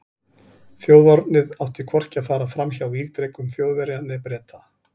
Þjóðernið átti hvorki að fara fram hjá vígdrekum Þjóðverja né Breta.